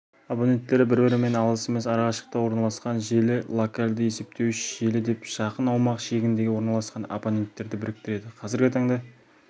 абоненттері бір-бірінен алыс емес ара шықтықта орналасқан желі локалды есептеуіш желі деп жақын аумақ шегінде орналасқан абоненттерді біріктіреді қазіргі таңда